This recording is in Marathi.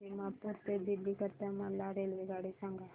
दिमापूर ते दिल्ली करीता मला रेल्वेगाडी सांगा